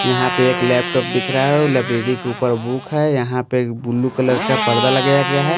यहां पे एक लैपटॉप दिख रहा है लाइब्रेरी के ऊपर बुक है यहां पे ब्लू कलर का पर्दा लगाया गया है।